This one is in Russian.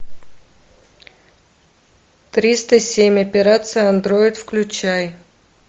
триста семь операция андроид включай